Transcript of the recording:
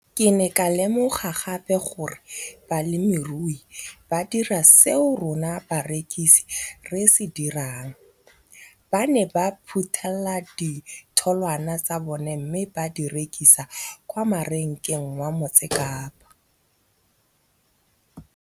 Ke ne ka lemoga gape gore balemirui ba dira seo rona barekisi re se dirang, ba ne ba phuthela ditholwana tsa bona mme ba di rekisa kwa marakeng wa Motsekapa.